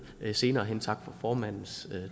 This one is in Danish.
senere hen tak for formandens